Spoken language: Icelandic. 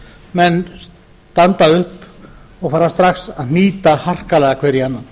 menn standa upp og fara strax að hnýta harkalega hver í annan